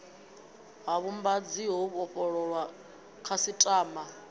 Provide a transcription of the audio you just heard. ha vhuvhambadzi ho vhofholowaho khasiṱama